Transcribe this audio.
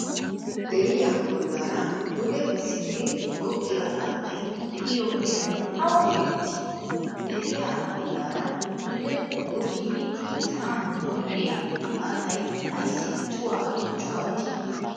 deeriyaa bollara duugee simmidi goggiyaa haattay de7iyo heeray awa geteetti? deriyaa bollara dugee goggidi saa7an wodhdhiyaa haattay aysi cuwwaa cuwwaati?